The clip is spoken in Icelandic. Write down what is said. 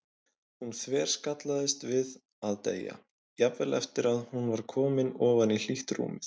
Hún þverskallaðist við að deyja, jafnvel eftir að hún var komin ofan í hlýtt rúmið.